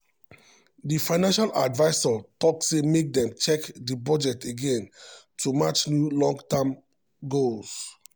di financial advisor talk say make dem check di budget again to match new long-term goals.